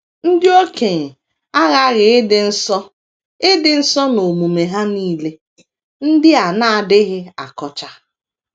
Ndị okenye aghaghị ịdị nsọ ịdị nsọ n’omume ha nile, ndị a na - adịghị akọcha.